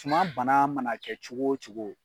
Suma bana mana kɛ cogo o cogo